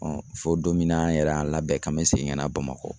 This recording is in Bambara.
fo don min na an yɛrɛ y'an labɛn k'an bɛ segin ka na Bamako